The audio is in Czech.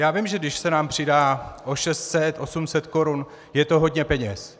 Já vím, že když se nám přidá o 600, 800 korun, je to hodně peněz.